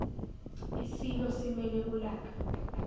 isilo simele ulaka